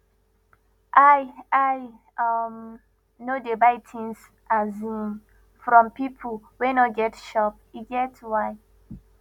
i i um no dey buy tins um from pipo wey no get shop e get why